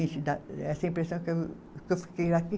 Esse dá, essa impressão que eu, que eu fiquei